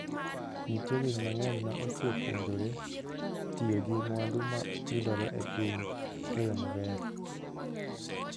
Nitie winy mang'eny ma osepuonjore tiyo gi mwandu ma yudore e piny e yo maber.